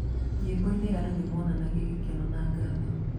Nyĩmbo-inĩ, andũ nĩ moonanagia gĩkeno na ngatho.